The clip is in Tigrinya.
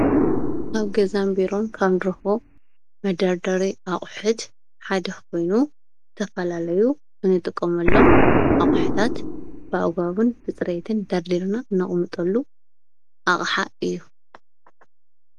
ኣብ ገዛን ቢሮን ካብ ንረክቦም መደርደሪ ኣቑሑት ሓደ ኮይኑ ዝተፈላለዩ እንጥቀመሎም ኣቑሑታት ብኣግባቡን ብፅሬትን ደርዲርና ነቅምጠሉ ኣቕሓ እዩ።